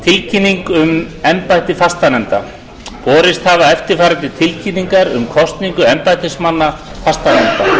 tilkynning um embætti fastanefnda borist hafa eftirfarandi tilkynningar um kosningu embættismanna fastanefnda